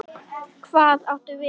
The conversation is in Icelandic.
Hvað átum við?